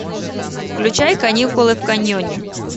включай каникулы в каньоне